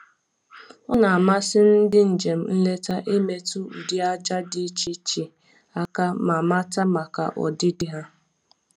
Ọ na-amasị ndị njem nleta imetụ ụdị aja dị iche iche aka ma mata maka ọdịdị ha